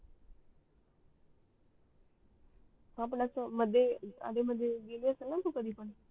ह पण अस अढे मध्ये गेली असण ना तू कधी पण